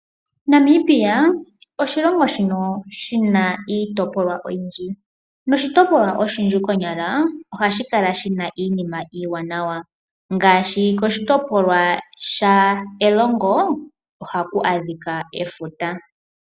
Namibia oshilongo shono shina iitopolwa oyindji. Noshitopilwa oshinene konyala ohashi kala shina iinima iiwanawa. Ngaashi koshitopolwa sha Erongo ohaku adhika efuta.